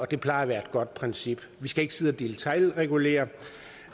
det plejer at være et godt princip vi skal ikke sidde og detailregulere